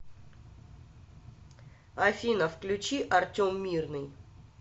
афина включи артем мирный